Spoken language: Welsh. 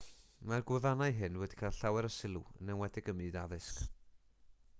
mae'r gwefannau hyn wedi cael llawer o sylw yn enwedig yn ym myd addysg